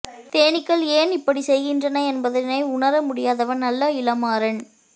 தேனீக்கள் ஏன் இப்படிச் செய்கின்றன என்பதை உணர முடியாதவன் அல்ல இளமாறன்